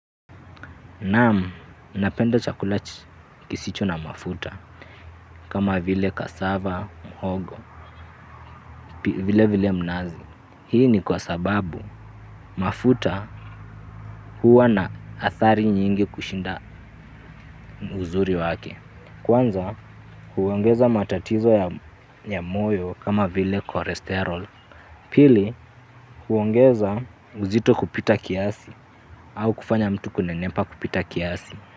Naam, napenda chakula kisicho na mafuta kama vile kasava, mhogo, vile vile mnazi. Hii ni kwa sababu mafuta huwa na athari nyingi kushinda uzuri wake. Kwanza, huongeza matatizo ya moyo kama vile cholesterol. Pili, huongeza uzito kupita kiasi au kufanya mtu kunenepa kupita kiasi.